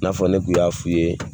I n'a fɔ ne kun y'a f'i ye